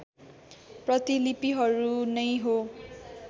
प्रतिलिपिहरू नै हो